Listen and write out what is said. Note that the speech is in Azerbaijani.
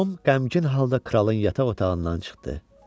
Tom qəmgin halda kralın yataq otağından çıxdı.